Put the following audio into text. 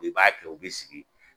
I b'a kɛ u bɛ sigi